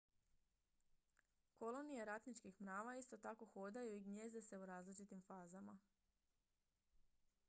kolonije ratničkih mrava isto tako hodaju i gnijezde se u različitim fazama